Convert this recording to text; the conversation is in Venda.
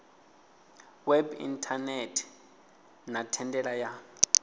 web inthanethe na thendela ya